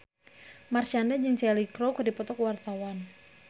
Marshanda jeung Cheryl Crow keur dipoto ku wartawan